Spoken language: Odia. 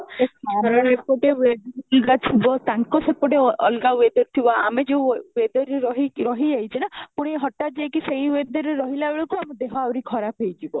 ଏ ଖରା ରେ ଗୋଟେ weather ଥିବ ତାଙ୍କ ସେପଟେ ଅଲଗା weather ଥିବ ଆମେ ଯଉ weather ରେ ରହି କି ରହି ଯାଇଛି ନା ପୁଣି ହଠାତ ଯାଇ କି ସେଇ weather ରେ ରହିଲା ବେଳକୁ ଆମ ଦେହ ଆହୁରି ଖରାପ ହେଇ ଯିବ